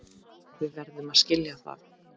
Við verðum að skilja það.